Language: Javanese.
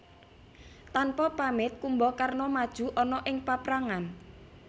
Tanpa pamit Kumbakarna maju ana ing paprangan